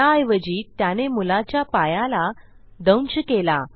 त्याऐवजी त्याने मुलाच्या पायाला दंश केला